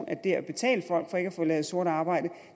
at det at betale folk for ikke at få lavet sort arbejde